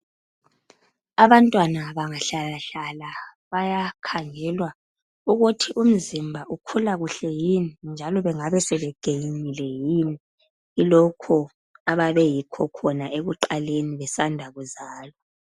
Abantwana bengahlala hlahla kumele baye hlolwa ukuthi imizimba yabo ikhula kuhle yini kusukela ekuzalweni kwabo.